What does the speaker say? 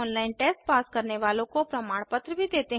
online test pass करने वालों को प्रमाण पत्र भी देते हैं